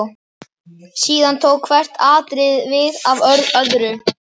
Síðan tók hvert atriðið við af öðru.